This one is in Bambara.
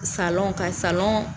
Salɔn ka salɔn